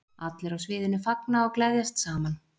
Allir á sviðinu fagna og gleðjast saman.